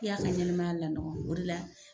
I y'a ka ɲɛnɛ maya lanɔgɔ, o de la.